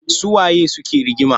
Su waye suke rigima?